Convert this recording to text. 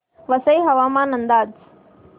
वसई हवामान अंदाज